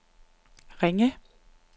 Ringe